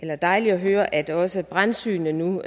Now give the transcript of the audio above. er jo dejligt at høre at også brandsynet nu